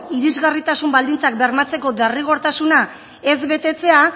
irisgarritasun baldintzak bermatzeko derrigortasuna ez betetzea